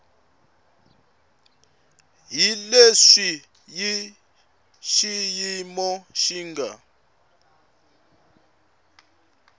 hi leswi xiyimo xi nga